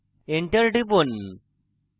enter টিপুন